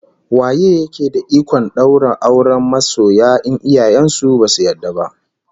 Waye yake da ikon daura auren masiya in iyaye basu yarda ba?